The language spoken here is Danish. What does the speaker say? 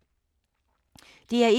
DR1